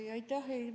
Aitäh!